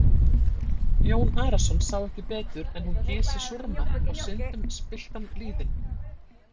Jón Arason sá ekki betur en hún gysi súrmat á syndum spilltan lýðinn.